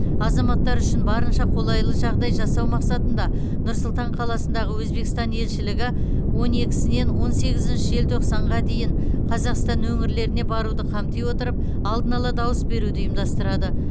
азаматтар үшін барынша қолайлы жағдай жасау мақсатында нұр сұлтан қаласындағы өзбекстан елшілігі он екісінен он сегізінші желтоқсанға дейін қазақстан өңірлеріне баруды қамти отырып алдын ала дауыс беруді ұйымдастырады